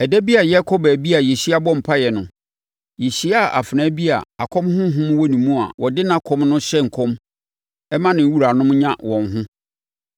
Ɛda bi a yɛrekɔ baabi a yɛhyia bɔ mpaeɛ no, yɛhyiaa afenaa bi a akɔm honhom wɔ ne mu a ɔde nʼakɔm no hyɛ nkɔm ma ne wuranom nya wɔn ho.